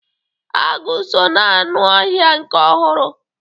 Agụ so ná anụ ọhịa nke ọhụrụ.